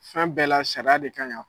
Fɛn bɛɛ la sariya de ka ɲi a .